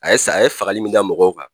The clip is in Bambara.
A ye saya a ye fagali min da mɔgɔw kan,